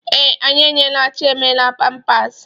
Ee, anyị eyinyeela Chiemelie pampasị.